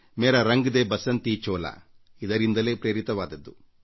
ಮೇರಾ ರಂಗ ದೆ ಬಸಂತಿ ಚೋಲಾ ಇದಕ್ಕೆ ಸೂಕ್ತ ಉದಾಹರಣೆಯಾಗಿದೆ